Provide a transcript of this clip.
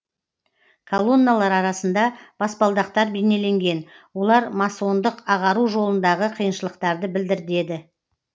колонналар арасында баспалдақтар бейнеленген олар масондық ағару жолындағы қиыншылықтарды білдірдеді